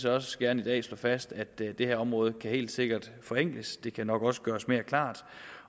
også gerne i dag slå fast at det her område helt sikkert forenkles det kan nok også gøres mere klart